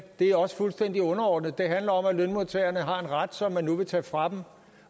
det er også fuldstændig underordnet det handler om at lønmodtagerne har en ret som man nu vil tage fra dem